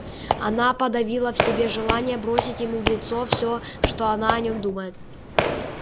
она подавила в себе желание бросить ему в лицо все что она о нем думает